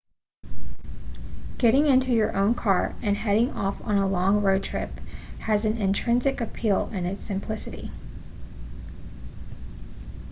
getting into your own car and heading off on a long road trip has an intrinsic appeal in its simplicity